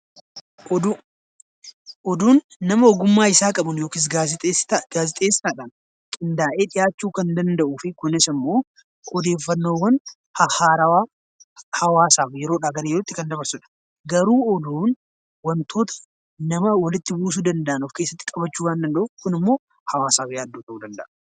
Oduu Oduun nama ogummaa isaa qabuun yookaan gaazexeessaadhaan qindaa'ee dhihaachuu kan danda'u fi kunis immoo odeeffannoowwan haarawaa hawaasaaf yeroodha gara yerootti kan dabarsudha . Garuu oduun waantota nama walitti buusuu danda'u of keessatti qabachuu waan danda'uuf Kun immoo hawaasaaf yaaddoo ta'uu danda'a.